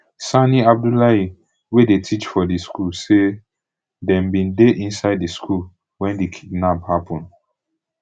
sani abdullahi wey dey teach for di school say dem bin dey inside di school wen di kidnap happun